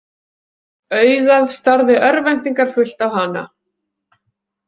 Augað starði örvæntingarfullt á hana.